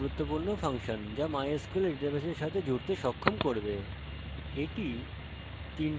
এখানে প্রথমটি নিজেই ওয়েবসার্ভার ওয়েবসার্ভারের ঠিকানা